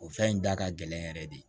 O fɛn in da ka gɛlɛn yɛrɛ de